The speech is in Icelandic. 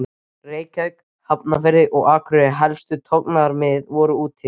Reykjavík, Hafnarfirði og Akureyri en helstu togaramiðin voru úti fyrir